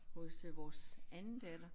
Hos øh vores anden datter